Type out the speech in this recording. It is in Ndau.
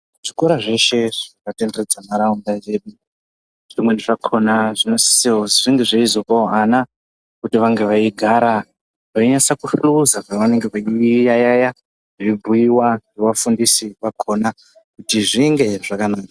Zvikora zveshe zvakatenderedza ntaraunda yedu. Zvimweni zvakona zvinosisirwa kuzi zvinge zveizopavo ana kuti vange veigara vainyase kuhluza pavanenge veiyaiya. Zveibhuva ngevafundisi vakona kuti zvinge zvakanaka.